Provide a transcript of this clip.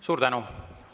Suur tänu!